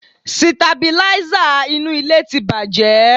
Sitabilísà inú ilé ti bàjẹ́